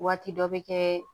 Waati dɔ bɛ kɛ